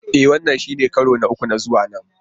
E! Wannan shine karo na uku na zuwa nan.